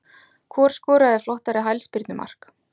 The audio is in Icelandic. Hvor skoraði flottara hælspyrnu mark?